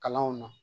Kalanw na